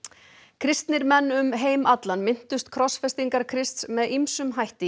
kristnir menn um heim allan minntust krossfestingar Krists með ýmsum hætti í